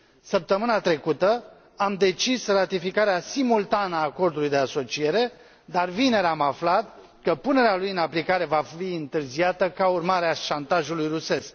Săptămâna trecută am decis ratificarea simultană a Acordului de asociere, dar vineri am aflat că punerea lui în aplicare va fi întârziată ca urmare a șantajului rusesc.